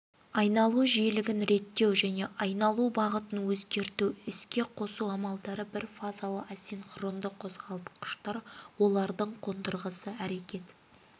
айналу жиілігін реттеу мен айналу бағытын өзгерту іске қосу амалдары бірфазалы асинхронды қозғалтқыштар олардың қондырғысы әрекет